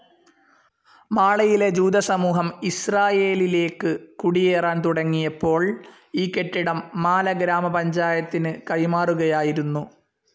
മാളയിലെ ജൂതസമൂഹം ഇസ്രായേലിലേക്ക് കുടിയേറാൻ തുടങ്ങിയപ്പോൾ ഈ കെട്ടിടം മാല ഗ്രാമ പഞ്ചായത്തിന് കൈമാറുകയായിരുന്നു.